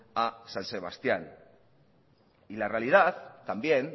a san sebastían y la realidad también